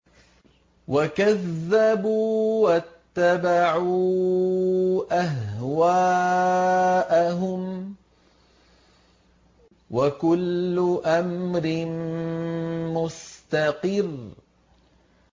وَكَذَّبُوا وَاتَّبَعُوا أَهْوَاءَهُمْ ۚ وَكُلُّ أَمْرٍ مُّسْتَقِرٌّ